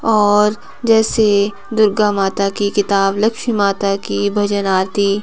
और जैसे दुर्गा माता की किताब लक्ष्मी माता की भजन आरती--